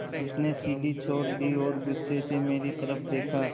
उसने सीढ़ी छोड़ दी और गुस्से से मेरी तरफ़ देखा